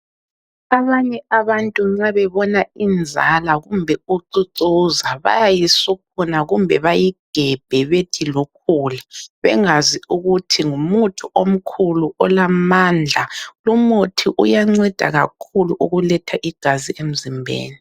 Abanye abantu nxa bebona inzala kumbe ucucuza bayayisuphuma kumbe bayigebhe bethi lukhula, bengazi ukuthi ngumuthi omkhulu olamandla. Lumuthi uyanceda kakhulu ukuletha igazi emzimbeni.